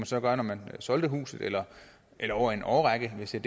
så gøre når man solgte huset eller over en årrække hvis det